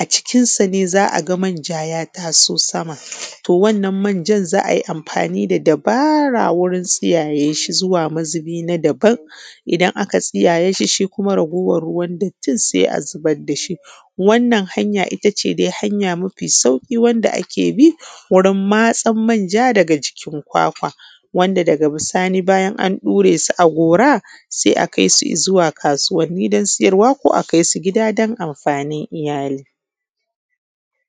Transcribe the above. a cikinsa ne za a ga manja ya taso sama, to wannan manjan za ai amfani da dabara wajen tsiyayye shi zuwa mazubi na dabam, idan aka tsiyayye shi kuma raguwan ruwan dattin sai a zubar dashi, wannan hanya ita ce hanya mafi sauƙi wanda ake bi wurin matsan manja daga jikin kwakwa, wanda daga bisani bayan an ɗure su a gora, sai a kaisu izuwa kasuwani don siyarwa ko a kaisu gida don amfanin iyali.